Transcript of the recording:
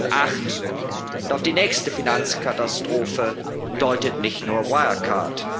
2008. Und auf die nächste Finanzkatastrophe deutet nicht nur Wirecard.